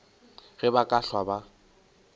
ge ba ka hlwa ba